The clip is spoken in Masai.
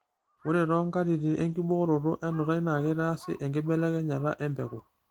ore too nkatitin enkibooroto enutai naa keitaasi enkibelenyata empeku.